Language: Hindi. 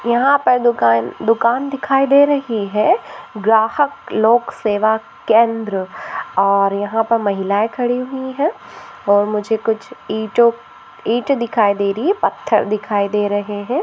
यहा पर दुकान दुकान दिखाई दे रही है ग्राहक लोक सेवा केंद्र और यहा पे महिलाए खड़ी हुई है और मुझे कुछ ईटों ईठ दिखाई रही है पत्थर दिखाई दे रहे है।